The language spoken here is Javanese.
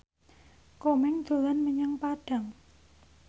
Komeng dolan menyang Padang